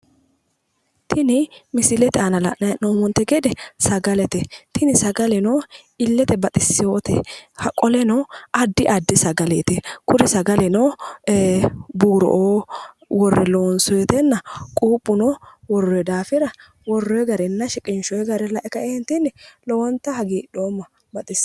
Tini misilete aana la'nayi he'noomonite gede sagalete tini sagaleno illete baxisewote qoleno addi addi sagaleet kuri sagaleno buuro"oo worre loonisoytenna quupheno worroyi daafira worroy gainna shiqinishoy gara lae kaeenittini lowonitta hagiidhooma Baxisewoe